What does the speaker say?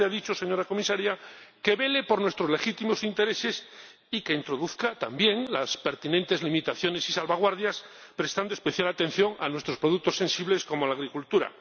como usted ha dicho, señora Comisaria, que vele por nuestros legítimos intereses y que introduzca también las pertinentes limitaciones y salvaguardias, prestando especial atención a nuestros productos sensibles como la agricultura.